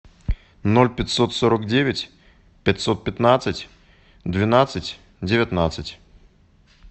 ноль пятьсот сорок девять пятьсот пятнадцать двенадцать девятнадцать